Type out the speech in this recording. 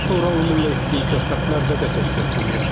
Daha sonra onunla etdiyim söhbətlərdə də tez-tez bunu yaşadım.